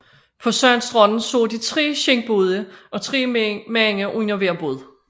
På sandstranden så de tre skindbåde og tre mænd under hver båd